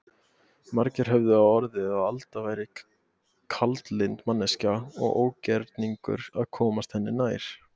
Margir höfðu á orði að Alda væri kaldlynd manneskja og ógerningur að komast henni nær.